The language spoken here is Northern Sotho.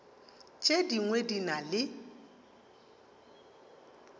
tše dingwe di na le